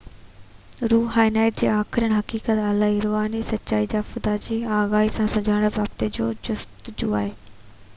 روحانيت هڪ آخرين حقيقت الاهي روحاني سچائي يا خدا جي واقف آگاهي سان سڃاڻپ رابطي جي جستجو آهي